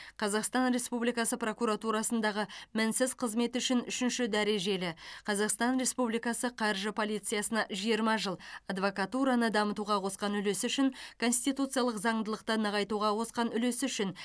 қазақстан республикасы прокуратурасындағы мінсіз қызметі үшін үшінші дәрежелі қазахстан республикасы қаржы полициясына жиырма жыл адвакатураны дамытуға қосқан улесі үшін конституциялық заңдылықты нығайтуға қосқан үлесі үшін